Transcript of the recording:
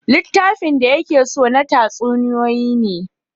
Littafin da ya ke so na tatsuniyoyi ne